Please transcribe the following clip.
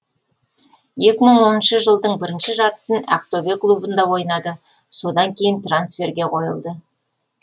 екі мың оныншы жылдың бірінші жартысын ақтөбе клубында ойнады содан кейін трансферге қойылды